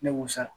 Ne b'o sara